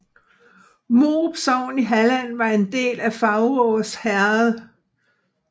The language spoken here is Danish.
Morup sogn i Halland var en del af Faurås herred